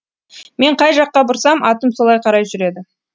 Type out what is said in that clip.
мен қай жаққа бұрсам атым солай қарай жүреді